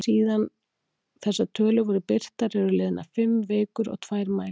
Síðan þessar tölur voru birtar eru liðnar fimm vikur og tvær mælingar.